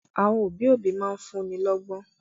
Àwọn òbí òbí máa ń fún'ni lọ́gbọ́n